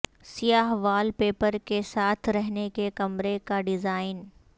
سیاہ wallpaper کے ساتھ رہنے کے کمرے کا ڈیزائن